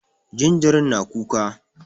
Jinjirin na kuka